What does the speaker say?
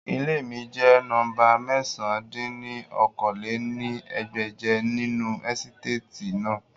Ile mi jẹ nọmba mẹ̀sán dín ní okòó-lé-ní-ẹgbẹ́je ninu esitati naa